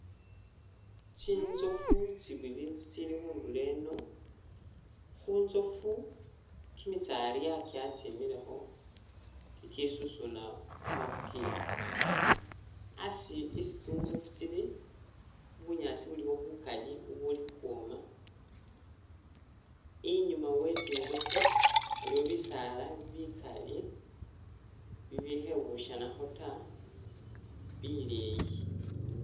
Tsinzofu tsibili tsitsili khundulo eno, hunzofu kimitsyarya kya tsimilekho kikisusuna kamafuuki, asi isi tsinzofu tsili bunyaasi buliwo bukali bubuli khukhwoma, inyuma we tsinzofu waliyo bisaala bikali bibikhebushanakho tta bileyi